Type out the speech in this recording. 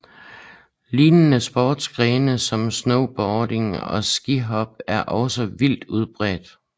Lignende sportsgrene som snowboarding og skihop er også vidt udbredt